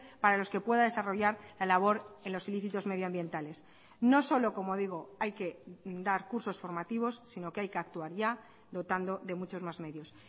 para los que pueda desarrollar la labor en los ilícitos medioambientales no solo como digo hay que dar cursos formativos sino que hay que actuar ya dotando de muchos más medios